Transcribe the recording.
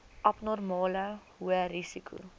abnormale hoë risiko